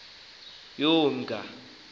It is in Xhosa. yomnga